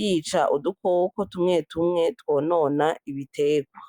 yica udukoko tumwe tumwe twonona ibitegwa.